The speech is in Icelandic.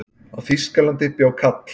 á þýskalandi bjó kall